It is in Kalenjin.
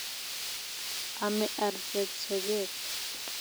Ame artet sogek